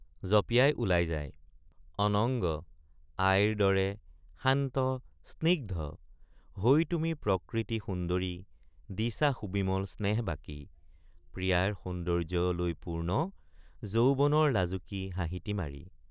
জপিয়াই ওলাই যায় অনঙ্গ—আইৰ দৰে শান্ত স্নিগ্ধ হৈ তুমি প্ৰকৃতি সুন্দৰি দিছা সুবিমল স্নেহ বাকি প্ৰিয়াৰ সৌন্দৰ্য্য লৈ পূৰ্ণ যৌৱনৰ লাজুকী হাঁহিটি মাৰি।